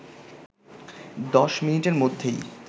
১০ মিনিটের মধ্যেই